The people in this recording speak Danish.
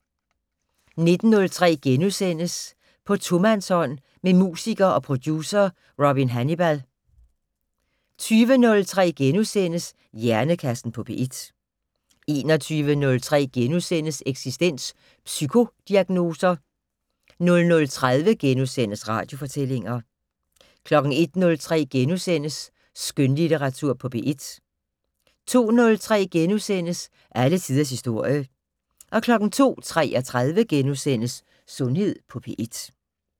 19:03: På tomandshånd med musiker og producer Robin Hannibal * 20:03: Hjernekassen på P1 * 21:03: Eksistens: Psykodiagnoser * 00:30: Radiofortællinger * 01:03: Skønlitteratur på P1 * 02:03: Alle tiders historie * 02:33: Sundhed på P1 *